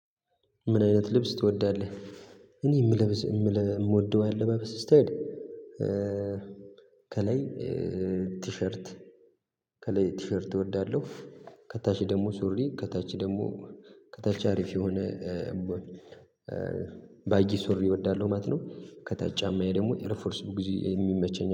ምን አይነት ልብስ ትወዳለህ? እኔ የምለብስ የምወደው ያለባበስ ስታይል ከላይ ቲሸርት ከላይ ቲሸርት እወዳለሁ። ከታች ደግሞ ሱሪ ከታች ደግሞ ከታች አሪፍ የሆነ ባጊ ሱሪ እወዳለሁ ማለት ነው። ከታች ጫማዬ ደግሞ ኤርፎርስ ብዙ ግዜ የሚመቸኝ